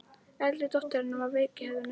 Eldri dóttir hennar var veik í höfðinu.